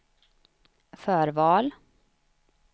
förval